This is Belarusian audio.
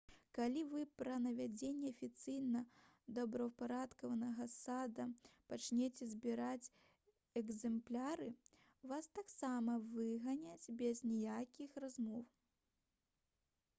калі вы пра наведванні афіцыйна добраўпарадкаванага сада пачняце збіраць «экзэмпляры» вас таксама выганяць без аніякіх размоў